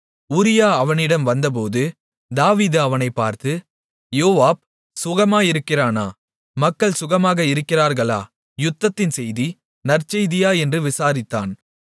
உரியா அவனிடம் வந்தபோது தாவீது அவனைப் பார்த்து யோவாப் சுகமாயிருக்கிறானா மக்கள் சுகமாக இருக்கிறார்களா யுத்தத்தின் செய்தி நற்செய்தியா என்று விசாரித்தான்